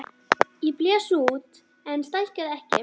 Ég blés út en stækkaði ekki.